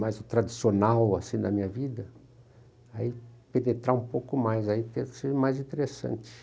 mais o tradicional, assim, da minha vida, aí penetrar um pouco mais, aí tem que ser mais interessante.